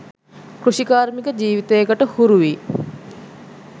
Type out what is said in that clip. කෘෂිකාර්මික ජීවිතයකට හුරු වී